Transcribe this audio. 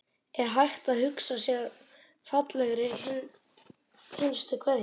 Er hægt að hugsa sér fallegri hinstu kveðju?